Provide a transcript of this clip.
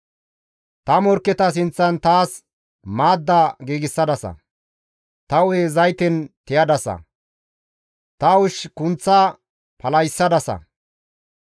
Ta morkketa sinththan taas maadda giigsadasa; ta hu7e zayten tiyadasa; ta ushshi kunththa palahissadasa.